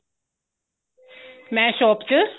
ਮੈਂ shop ਚ